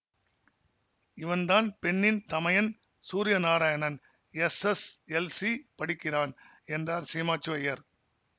இவன்தான் பெண்ணின் தமையன் சூரியநாராயணன் எஸ்எஸ்எல்சி படிக்கிறான் என்றார் சீமாச்சுவய்யர்